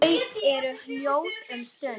Þau eru hljóð um stund.